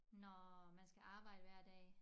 Når man skal arbejde hver dag